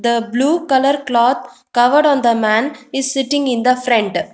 the blue colour cloth covered on the man is sitting in the front.